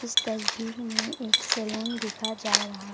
इस तस्वीर में एक सैलून दिखा जा रहा --